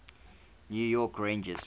new york rangers